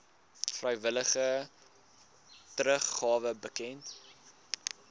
vrywillige teruggawe bekend